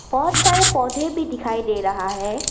बहोत सारे पौधे भी दिखाई दे रहा है।